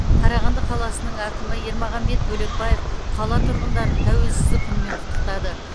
қарағанды қаласының әкімі ермағанбет бөлекбаев қала тұрғындарын тәуелсіздік күнімен құттықтады